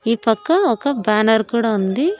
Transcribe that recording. ఈ పక్క ఒక బ్యానర్ కూడా ఉంది.